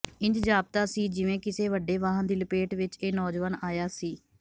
ਇੰਝ ਜਾਪਦਾ ਸੀ ਜਿਵੇਂ ਕਿਸੇ ਵੱਡੇ ਵਾਹਨ ਦੀ ਲਪੇਟ ਵਿਚ ਇਹ ਨੌਜਵਾਨ ਆਇਆ ਸੀ